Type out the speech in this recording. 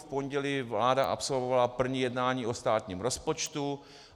V pondělí vláda absolvovala první jednání o státním rozpočtu.